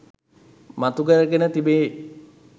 මතුකරගෙන තිබේ